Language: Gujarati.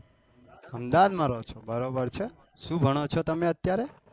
અમદાવાદ માં રહો છો બરોબર છે શું ભણો છો તમે અત્યારે